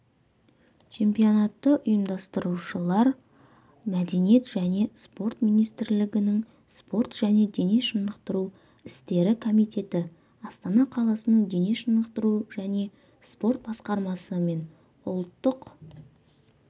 чемпионатты ұйымдастырушылар мәдениет және спорт министрлігінің спорт және дене шынықтыру істері комитеті астана қаласының дене шынықтыру және спорт басқармасы мен ұлттық